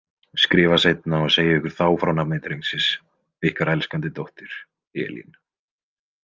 Skrifa seinna og segi ykkur þá frá nafni drengsins, ykkar elskandi dóttir, Elín.